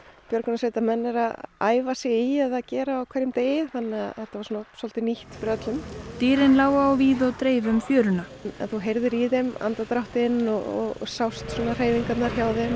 björgunarsveitarmenn eru að æfa sig í eða gera á hverjum degi þannig að þetta var svolítið nýtt fyrir öllum dýrin lágu á víð og dreif um fjöruna en þú heyrðir í þeim andardráttinn og sást hreyfingarnar hjá þeim